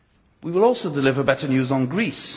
We will also deliver better news on Greece.